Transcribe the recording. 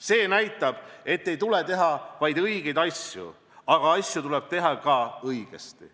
See näitab, et ei tule teha ainult õigeid asju, vaid asju tuleb teha ka õigesti.